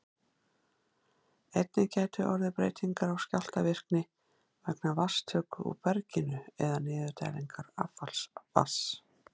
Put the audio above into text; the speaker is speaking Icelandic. Einnig gætu orðið breytingar á skjálftavirkni vegna vatnstöku úr berginu eða niðurdælingar affallsvatns.